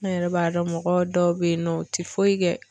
An yɛrɛ b'a dɔn mɔgɔ dɔw bɛ yen nɔ u tɛ foyi kɛ.